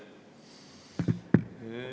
Aitäh!